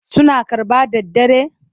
Suna karɓa da daddare?